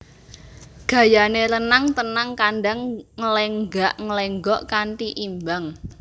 Gayané renang tenang kandang nglenggak nglenggok kanti imbang